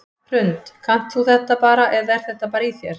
Hrund: Kannt þú þetta bara eða er þetta bara í þér?